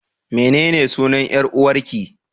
Menene sunan 'yar'uwarƙi?